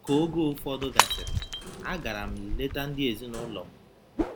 Ka oge ụfọdụ gasịrị, agara m leta ndị ezinụlọ m.